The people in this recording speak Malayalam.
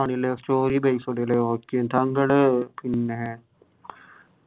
ആണല്ലേ story based okay താങ്കൾ പിന്നെ